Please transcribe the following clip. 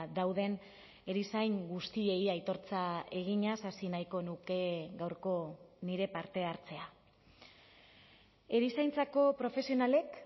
dauden erizain guztiei aitortza eginez hasi nahiko nuke gaurko nire parte hartzea erizaintzako profesionalek